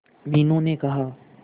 मीनू ने कहा